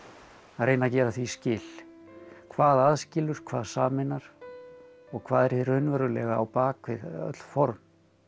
að reyna að gera því skil hvað aðskilur hvað sameinar og hvað er hið raunverulega á bak við öll form